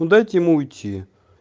ну дайте ему уйти